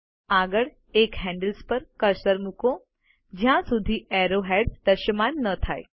આગળ એક હેન્ડલ્સ પર કર્સર મુકો જ્યાં સુધી એરોહેડ્સ દૃશ્યમાન ન થાય